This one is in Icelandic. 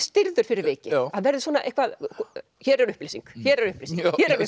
stirður fyrir vikið hann verði svona hér er upplýsing hér er upplýsing